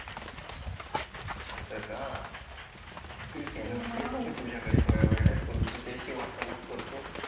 अस का ठीक आहे ना येतो मी तुझ्याकडे थोड्या वेळात बोलू. तुझ्याशी वार्तालाप करतो